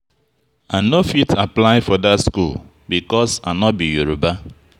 I no fit apply for that school because I no be Yoruba